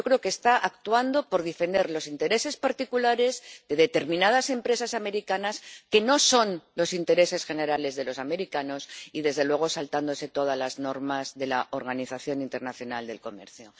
Yo creo que está actuando por defender los intereses particulares de determinadas empresas estadounidenses, que no son los intereses generales de los estadounidenses, y, desde luego, saltándose todas las normas de la Organización Mundial del Comercio.